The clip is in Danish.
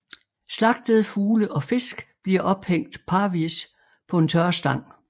Slagtede fugle og fisk bliver ophængt parvis på en tørrestang